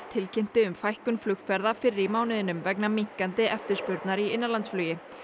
tilkynnti um fækkun flugferða fyrr í mánuðinum vegna minnkandi eftirspurnar í innanlandsflugi